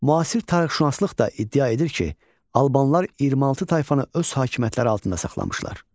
Müasir tarixşünaslıq da iddia edir ki, Albanlar 26 tayfanı öz hakimiyyətləri altında saxlamışlar.